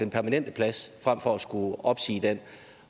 permanente plads frem for at skulle opsige den